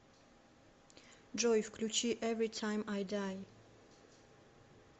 джой включи эври тайм ай дай